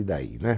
E daí, né?